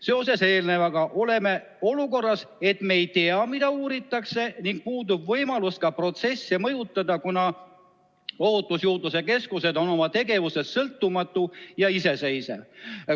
Seoses sellega oleme olukorras, et me ei tea, mida uuritakse, ning puudub võimalus ka protsessi mõjutada, kuna Ohutusjuurdluse Keskus on oma tegevuses sõltumatu ja iseseisev.